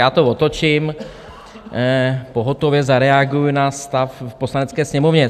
Já to otočím, pohotově zareaguji na stav v Poslanecké sněmovně.